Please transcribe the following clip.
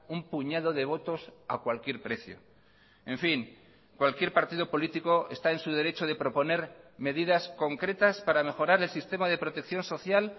un puñado de votos a cualquier precio en fin cualquier partido político está en su derecho de proponer medidas concretas para mejorar el sistema de protección social